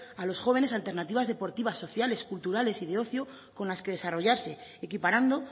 los jóvenes alternativas deportivas sociales culturales y de ocio con las que desarrollarse equiparando